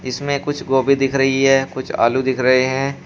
इसमें कुछ गोभी दिख रही है कुछ आलू दिख रहे हैं।